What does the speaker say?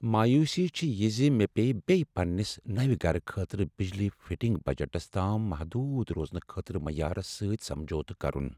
مایوسی چھے یہ زِ مےٚ پییہِ بییہ پننس نَوِ گرٕ خٲطرٕ بجلی فٹنگ بجٹس تام محدود روزنہٕ خٲطرٕ معیارس سٕتۍ سمجوتہٕ کرُن۔